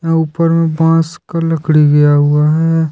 ऊपर में बांस का लकड़ी गया हुआ है।